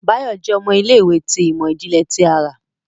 Bayo jẹ ọmọ ilé-ìwé ti imọ-jinlẹ ti àrà.